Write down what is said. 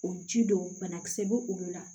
O ji don banakisɛ bɛ olu la